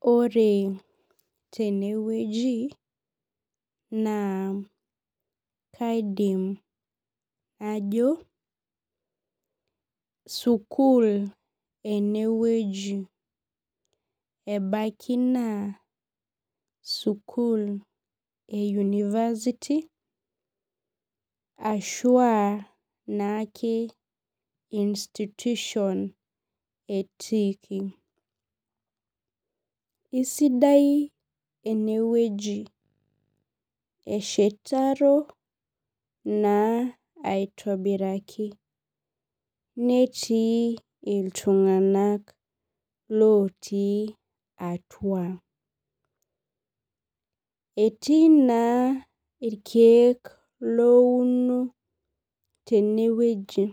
Ore tenewueji na kaidim najo sukul enewueji ebaki na sukul e university ashua naake instution etiiki isidai enewueji eshetaro na aitobiraki netii ltunganak otii atua etii na irkiek louno tenewueji